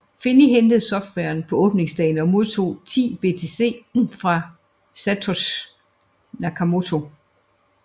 Finney hentede softwaren på åbningsdagen og modtog 10 BTC fra Satoshi Nakamoto